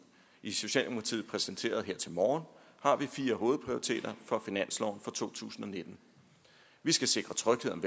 i socialdemokratiet præsenterede her til morgen har vi fire hovedprioriteter for finansloven for 2019 vi skal sikre tryghed om